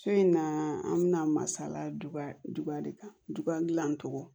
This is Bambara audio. So in na an bɛna masala duya de kan dugalan cogo